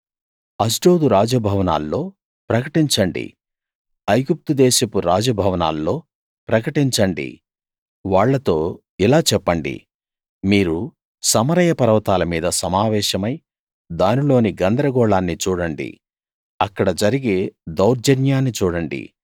అష్డోదు రాజ భవనాల్లో ప్రకటించండి ఐగుప్తుదేశపు రాజ భవనాల్లో ప్రకటించండి వాళ్ళతో ఇలా చెప్పండి మీరు సమరయ పర్వతాల మీద సమావేశమై దానిలోని గందరగోళాన్ని చూడండి అక్కడ జరిగే దౌర్జన్యాన్ని చూడండి